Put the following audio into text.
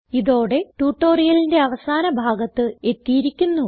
ഇതോടെ ട്യൂട്ടോറിയലിന്റെ അവസാന ഭാഗത്ത് എത്തിയിരിക്കുന്നു